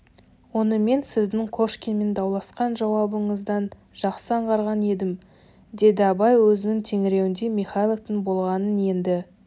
оны мен сіздің кошкинмен дауласқан жауабыңыздан жақсы аңғарған едім деді абай өзінің тергеуінде михайловтың болғанын енді